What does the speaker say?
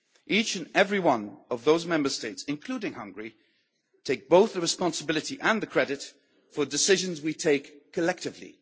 Each and every one of those Member States, including Hungary, take both the responsibility and the credit for decisions we take collectively.